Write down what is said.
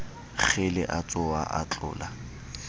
kgele a tsoha a tlola